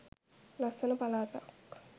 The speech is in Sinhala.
ලස්සන පළාතක්.